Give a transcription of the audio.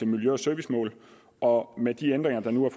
miljø og servicemål og med de ændringer der nu er